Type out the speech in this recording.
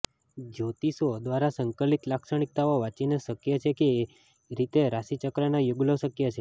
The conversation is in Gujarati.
જ્યોતિષીઓ દ્વારા સંકલિત લાક્ષણિકતાઓ વાંચીને શક્ય છે કે કેવી રીતે રાશિચક્રના યુગલો શક્ય છે